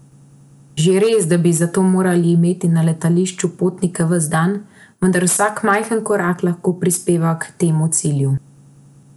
Že res, da bi za to morali imeti na letališču potnike vsak dan, vendar vsak majhen korak lahko prispeva k temu cilju.